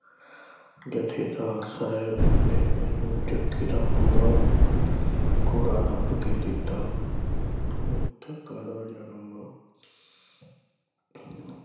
ਜਥੇਦਾਰ ਸਾਹਿਬ ਨੇ ਮੈਨੂੰ ਜੱਗੇ ਦਾ ਪੂਰਾ ਹੋਰਾ ਲੱਭ ਕੇ ਦਿੱਤਾ। ਜਨਮ